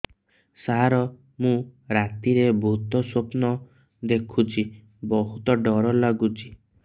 ସାର ମୁ ରାତିରେ ଭୁତ ସ୍ୱପ୍ନ ଦେଖୁଚି ବହୁତ ଡର ଲାଗୁଚି